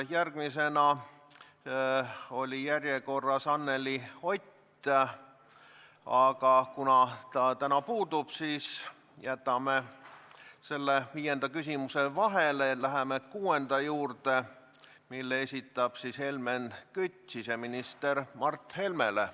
Järgmisena oli järjekorras Anneli Ott, aga kuna ta täna puudub, siis jätame viienda küsimuse vahele ja läheme kuuenda juurde, mille esitab Helmen Kütt siseminister Mart Helmele.